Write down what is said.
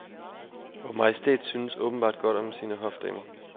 Vor majestæt synes åbenbart godt om sine hofdamer.